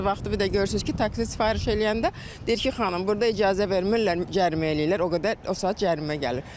Bəzi vaxtı bir də görürsünüz ki, taksi sifariş eləyəndə deyir ki, xanım burda icazə vermirlər, cərimə eləyirlər, o qədər o saat cərimə gəlir.